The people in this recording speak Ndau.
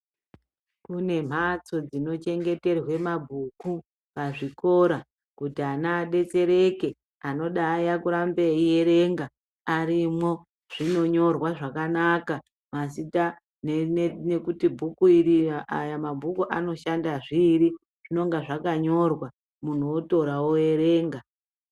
Kune mhatso dzinochengeterwe mabhuku pazvikora kuti ana adetsereke. Anoda aya kurambe eyierenga arimwo. Zvinonyorwa zvakanaka mazita nekuti bhuku iri, aya mabhuku anoshanda zviiri, zvinonga zvakanyorwa, munhu otora oerenga.